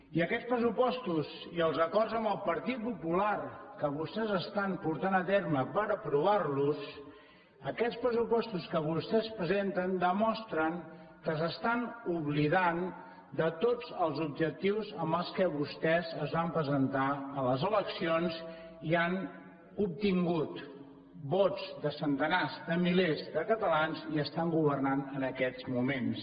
i aquests pressupostos i els acords amb el partit popular que vostès estan portant a terme per aprovar los aquests pressupostos que vostès presenten demostren que s’estan oblidant de tots els objectius amb què vostès es van presentar a les eleccions i han obtingut vots de centenars de milers de catalans i estan governant en aquests moments